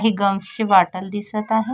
एक गम्सची बॉटल दिसत आहे.